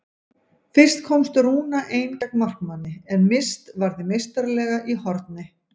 Fyrst komst Rúna ein gegn markmanni en Mist varði meistaralega í horn.